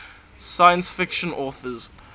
science fiction authors